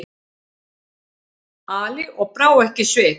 Ali og brá ekki svip.